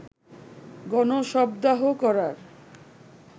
গণ-শবদাহ করার